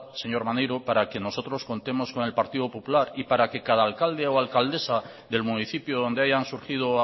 señor maneiro para que nosotros contemos con el partido popular y para que cada alcalde o alcaldesa del municipio donde hayan surgido o